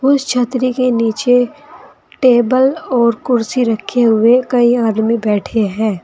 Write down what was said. उस छतरी के नीचे टेबल और कुर्सी रखे हुए कई आदमी बैठे हैं।